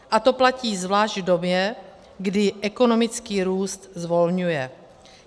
A to platí zvlášť v době, kdy ekonomický růst zvolňuje.